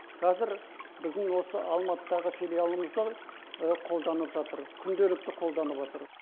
қазір біздің осы алматыдағы филиалымызда қолданып жатыр күнделікті қолданыватыр